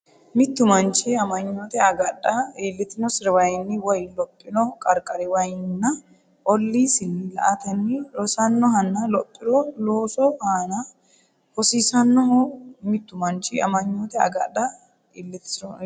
Mittu manchi amanyoote agadha iltinosiriwayiinni woy lophino qarqariwayiinninna olliisinni la”atenni rosannohonna lophiro loosu aana hosiisannoho Mittu manchi amanyoote agadha iltinosiriwayiinni.